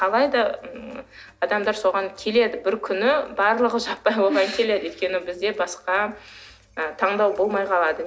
алайда ммм адамдар соған келеді бір күні барлығы жаппай оған келеді өйткені бізде басқа ы таңдау болмай қалады